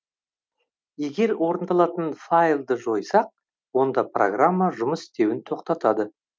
егер орындалатын файлды жойсақ онда программа жұмыс істеуін тоқтатады